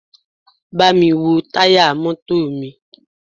Bámi wo táyà mọ́tò mi!